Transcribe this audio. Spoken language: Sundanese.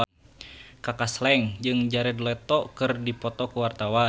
Kaka Slank jeung Jared Leto keur dipoto ku wartawan